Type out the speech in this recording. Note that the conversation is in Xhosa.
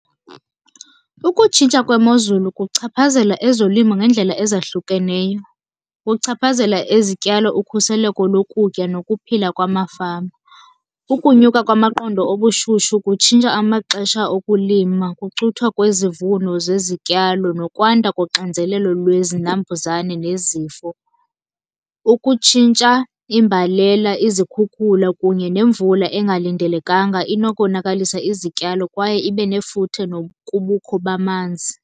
Ukutshintsha kwemozulu kuchaphazela ezolimo ngeendlela ezahlukeneyo. Kuchaphazela izityalo, ukhuseleko lokutya nokuphila kwamafama. Ukunyuka kwamaqondo obushushu kutshintsha amaxesha okulima, kucuthwa kwezivuno zezityalo nokwanda koxinzelelo lwezinambuzane nezifo. Ukutshintsha imbalela, izikhukhula kunye nemvula engalindelekanga inokonakalisa izityalo kwaye ibe nefuthe nokubukho bamanzi.